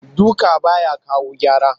Duka ba ya kawo gyara